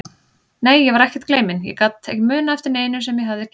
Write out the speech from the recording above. Nei, ég var ekkert gleyminn, ég gat ekki munað eftir neinu sem ég hafði gleymt.